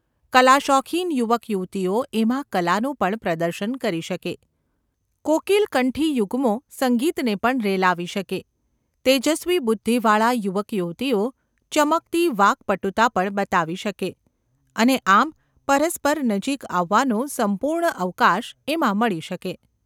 કલાશોખીન યુવકયુવતીઓ એમાં કલાનું પણ પ્રદર્શન કરી શકે; કોકિલકંઠી યુગ્મો સંગીતને પણ રેલાવી શકે; તેજસ્વી બુદ્ધિવાળા યુવકયુવતીઓ ચમકતી વાક્‌પટુતા પણ બતાવી શકે; અને આમ પરસ્પર નજીક આવવાનો સંપૂર્ણ અવકાશ એમાં મળી શકે.